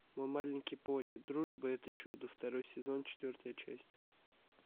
мой маленький пони дружба это чудо второй сезон четвертая часть